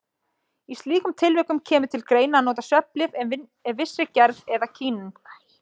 Í slíkum tilvikum kemur til greina að nota svefnlyf af vissri gerð eða kínín.